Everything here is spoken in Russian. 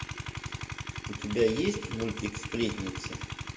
у тебя есть мультик сплетница